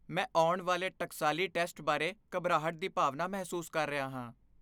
ਮੈਂ ਆਉਣ ਵਾਲੇ ਟਕਸਾਲੀ ਟੈਸਟ ਬਾਰੇ ਘਬਰਾਹਟ ਦੀ ਭਾਵਨਾ ਮਹਿਸੂਸ ਕਰ ਰਿਹਾ ਹਾਂ।